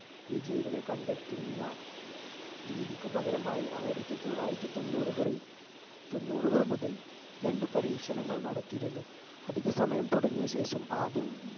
വിജയികളെ കണ്ടെത്തുന്ന രീതിക്കു പകരമായി ആയിരത്തി തൊള്ളായിരത്തി തൊണ്ണൂറുകളിൽ തൊണ്ണൂറുകൾ മുതൽ രണ്ടു പരീക്ഷണങ്ങൾ നടത്തിയിരുന്നു അധിക സമയം തുടങ്ങിയ ശേഷം ആദ്യം ഉം